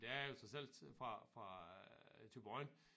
Der er jo trods alt fra fra Thyborøn